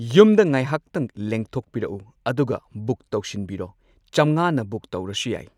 ꯌꯨꯝꯗ ꯉꯥꯢꯍꯥꯛꯇꯪ ꯂꯦꯡꯊꯣꯛꯄꯤꯔꯛꯎ ꯑꯗꯨꯒ ꯕꯨꯛ ꯇꯧꯁꯤꯟꯕꯤꯔꯣ ꯆꯝꯉꯥꯅ ꯕꯨꯛ ꯇꯧꯔꯁꯨ ꯌꯥꯏ꯫